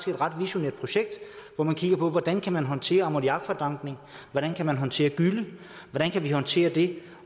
visionært projekt hvor man kiggede på hvordan kan man håndtere ammoniakfordampning hvordan kan man håndtere gylle hvordan kan man håndtere det